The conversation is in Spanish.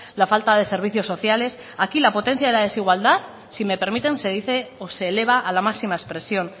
la falta de servicios sociales aquí la potencia de la desigualdad si me permiten se dice o se eleva a la máxima expresión